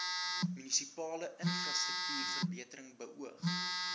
munisipale infrastruktuurverbetering beoog